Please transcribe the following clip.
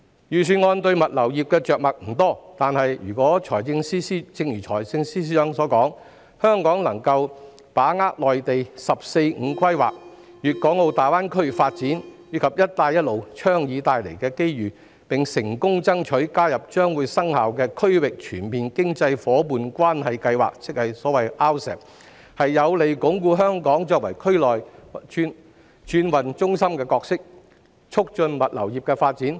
預算案對物流業着墨不多，但正如財政司司長所說，若香港能把握內地"十四五"規劃、粵港澳大灣區發展及"一帶一路"倡議帶來的機遇，並成功爭取加入將會生效的《區域全面經濟伙伴關係協定》，即 RCEP， 將有利鞏固香港作為區內轉運中心的角色，促進物流業的發展。